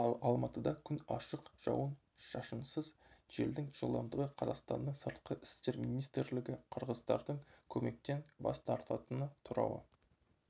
ал алматыда күн ашық жауын-шашынсыз желдің жылдамдығы қазақстанның сыртқы істер министрлігі қырғыздардың көмектен бас тартатыны туралы